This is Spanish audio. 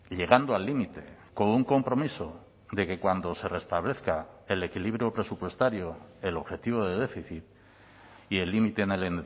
llegando al límite con un compromiso de que cuando se restablezca el equilibrio presupuestario el objetivo de déficit y el límite en el